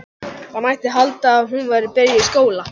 Það mætti halda að hún væri byrjuð í skóla.